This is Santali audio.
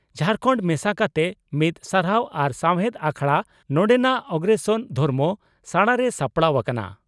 ᱡᱷᱟᱨᱠᱷᱟᱱᱰ ᱢᱮᱥᱟ ᱠᱟᱛᱮ ᱢᱤᱫ ᱥᱟᱨᱦᱟᱣ ᱟᱨ ᱥᱟᱣᱦᱮᱫ ᱟᱠᱷᱲᱟ ᱱᱚᱰᱮᱱᱟᱜ ᱚᱜᱨᱚᱥᱮᱱ ᱫᱷᱚᱨᱢᱚ ᱥᱟᱲᱟᱨᱮ ᱥᱟᱯᱲᱟᱣ ᱟᱠᱟᱱᱟ ᱾